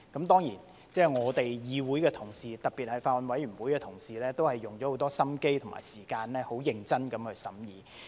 當然，議會的同事，特別是法案委員會的同事也花了很多心機和時間很認真地審議。